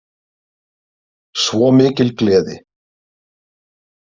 Svo mikil gleði.